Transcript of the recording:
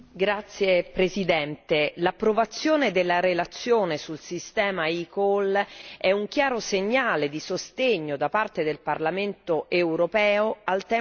L'approvazione della relazione sul sistema eCall è un chiaro segnale di sostegno da parte del Parlamento europeo al tema della sicurezza stradale.